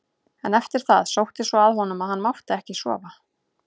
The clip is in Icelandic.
En eftir það sótti svo að honum að hann mátti ekki sofa.